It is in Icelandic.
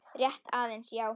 Rétt aðeins, já.